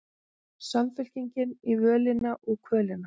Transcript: Samfylkingin á völina og kvölina